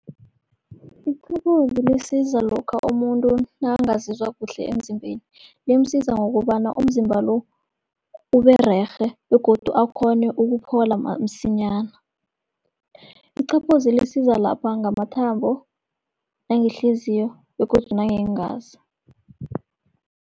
Iqaphozi lisiza lokha umuntu nakangazizwa kuhle emzimbeni, limsiza ngokobana umzimba lo Ubererhe begodu akghone ukuphola msinyana. Iqaphozi lisiza lapha ngamathambo, nangehliziyo begodu nangeengazi.